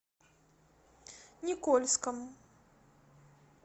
никольском